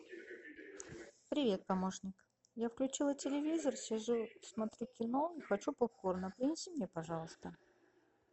привет помощник я включила телевизор сижу смотрю кино хочу попкорна принеси мне пожалуйста